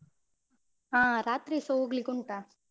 ಅಹ್ ರಾತ್ರಿಸ ಹೋಗ್ಲಿಕ್ಕುಂಟ.